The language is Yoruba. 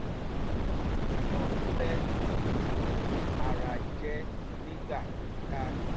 ó wọ aṣọ fẹ́ tí kò fi ara jẹ̀ nígbà kíkà